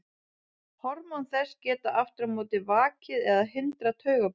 Hormón þess geta aftur á móti vakið eða hindrað taugaboð.